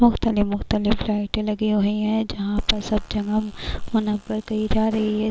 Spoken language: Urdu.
مختلف مختلف لیٹن لگی ہی ہے، جہاں پر سب جگہ منور کی جا رہی ہے-